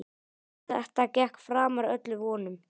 Þetta gekk framar öllum vonum.